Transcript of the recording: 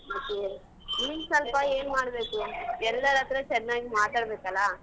ಮತ್ತೇ ನೀನ್ ಸೊಲ್ಪ ಏನ್ ಮಾಡ್ಬೇಕು ಎಲ್ಲರ್ ಹತ್ರ ಚೆನ್ನಾಗ್ ಮಾತಾಡ್ಬೇಕಲ್ಲ.